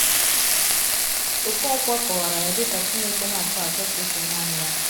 Okonkwo kọwara ya dị ka “ Chineke nke na - achọ achọ ka e fee nanị Ya. ”